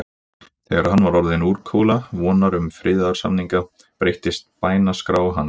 Þegar hann var orðinn úrkula vonar um friðarsamninga, breyttist bænaskrá hans.